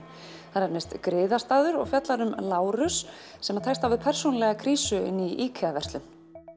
það nefnist griðastaður og fjallar um Lárus sem tekst á við persónulega krísu inni í IKEA verslun